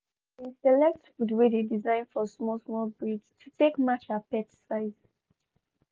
she been select food wey dey design for small small breeds to take match her pet size.